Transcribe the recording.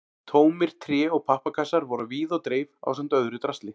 Tómir tré- og pappakassar voru á víð og dreif ásamt öðru drasli.